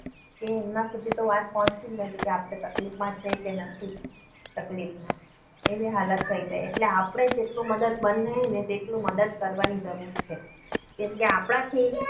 એ એમના સુધી તો વાત પહોંચી જ નથી કે આપણે તકલીફમાં છે કે નથી. તકલીફમાં. એવી હાલત થઈ જાય એટલે આપણે જેટલું મદદરૂપ બનીએ ને તો મદદ કરવાની જરૂર છે. કેમકે આપણાથી